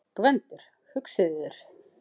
GVENDUR: Hugsið yður!